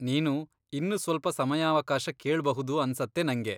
ನೀನು ಇನ್ನು ಸ್ವಲ್ಪ ಸಮಯಾವಕಾಶ ಕೇಳ್ಬಹುದು ಅನ್ಸತ್ತೆ ನಂಗೆ.